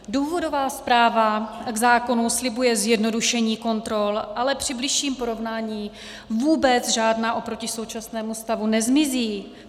Důvodová zpráva k zákonu slibuje zjednodušení kontrol, ale při bližším porovnání vůbec žádná oproti současnému stavu nezmizí.